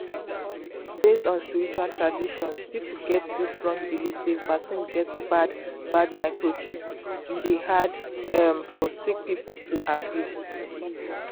based on spiritual traditions people get dis wrong believe sey vaccine get bad bad microchips e dey hard um for sick people to agree.